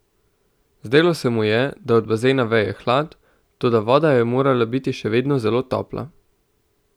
Zdelo se mu je, da od bazena veje hlad, toda voda je morala biti še vedno zelo topla.